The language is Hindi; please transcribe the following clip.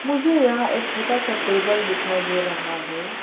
मुझे यहां एक छोटा सा टेबल दिखाई दे रहा है।